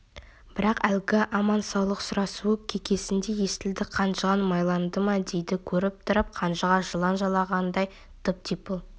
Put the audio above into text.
бірақ әлгі аман-саулық сұрасуы кекесіндей естілді қанжығаң майланды ма дейді көріп тұрып қанжыға жылан жалағандай тып-типыл